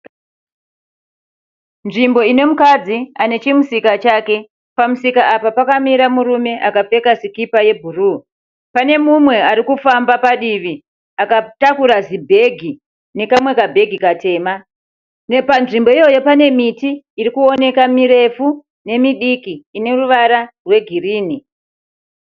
Nzvimbo ine mukadzi ane chimusika chake. Pamusika Apa pakamira murume akapfeka sikipa yebhuruu. Pane mumwe arikufamba padivi akatakura zibhegi nekamwe kabhegi katema. Panzvimbo iyoyo pane miti irikuoneka mirefu nemidiki ine ruvara rwegirinhi.